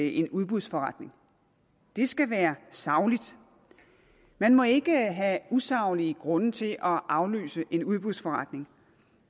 en udbudsforretning det skal være sagligt man må ikke have usaglige grunde til at aflyse en udbudsforretning